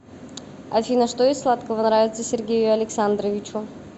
афина что из сладкого нравится сергею александровичу